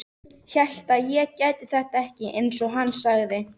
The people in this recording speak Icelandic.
Hélt ég gæti þetta ekki, einsog hann sagði.